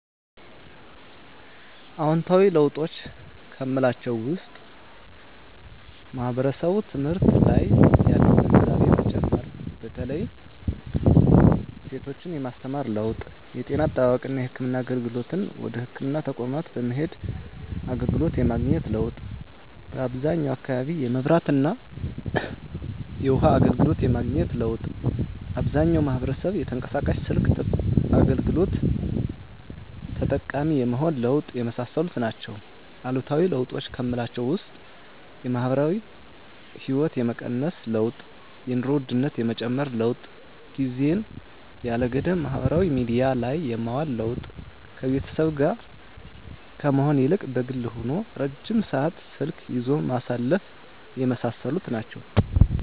አዎንታዊ ለውጦች ከምላቸው ውስጥ ማህበረሰቡ ትምህርት ላይ ያለው ግንዛቤ መጨመር በተለይ ሴቶችን የማስተማር ለውጥ የጤና አጠባበቅና የህክምና አገልግሎትን ወደ ህክምና ተቋማት በመሄድ አገልግሎት የማግኘት ለውጥ በአብዛኛው አካባቢ የመብራትና የውሀ አገልግሎት የማግኘት ለውጥ አብዛኛው ማህበረሰብ የተንቀሳቃሽ ስልክ አገልግሎት ተጠቃሚ የመሆን ለውጥ የመሳሰሉት ናቸው። አሉታዊ ለውጦች ከምላቸው ውስጥ የማህበራዊ ህይወት የመቀነስ ለውጥ የኑሮ ውድነት የመጨመር ለውጥ ጊዜን ያለ ገደብ ማህበራዊ ሚዲያ ላይ የማዋል ለውጥ ከቤተሰብ ጋር ከመሆን ይልቅ በግል ሆኖ ረጅም ሰዓት ስልክ ይዞ ማሳለፍ የመሳሰሉት ናቸው።